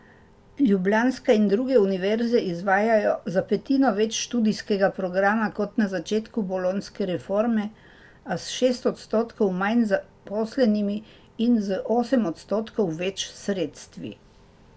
Ljubljanska in druge univerze izvajajo za petino več študijskega programa kot na začetku bolonjske reforme, a s šest odstotkov manj zaposlenimi in z osem odstotkov več sredstvi.